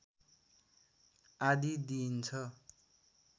आदि दिइन्छ